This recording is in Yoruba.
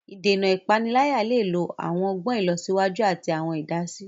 Ìdènà ipanilaya le lo awọn ọgbọn ilọsiwaju ati awọn idasi.